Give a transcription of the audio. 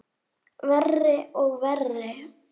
Verri og verri.